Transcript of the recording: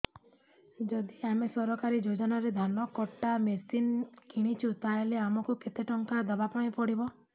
ଯଦି ଆମେ ସରକାରୀ ଯୋଜନାରେ ଧାନ କଟା ମେସିନ୍ କିଣୁଛେ ତାହାଲେ ଆମକୁ କେତେ ଟଙ୍କା ଦବାପାଇଁ ପଡିବ